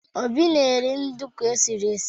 Obi na-eri nduku e siri esi.